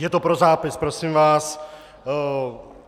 Je to pro zápis, prosím vás.